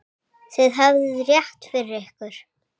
Þið höfðuð rétt fyrir ykkur.